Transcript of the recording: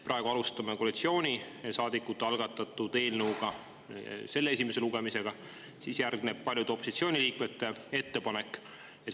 Me alustasime koalitsioonisaadikute algatatud eelnõu esimese lugemisega, sellele järgneb paljude opositsiooniliikmete ettepanek.